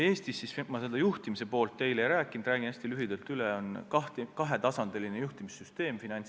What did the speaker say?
Eestis – ma seda juhtimise poolt teile ei selgitanud, teen seda praegu hästi lühidalt – on Finantsinspektsioonis kahetasandiline juhtimissüsteem.